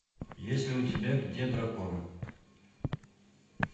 есть ли у тебя где дракон